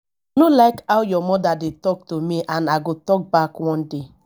no like how your mother dey talk to me and i go talk back one day